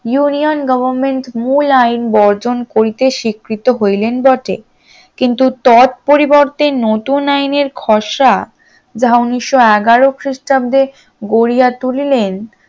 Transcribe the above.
union government মূল আইন বর্জন করিতে স্বীকৃত হইলেন বটে কিন্তু তদ পরিবর্তে নতুন আইনের খরচা যাহা উনিশশ এগারো খ্রিস্টাব্দে গড়িয়া তুলিলেন